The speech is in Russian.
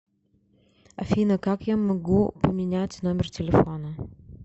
афина как я могу поменять номер телефона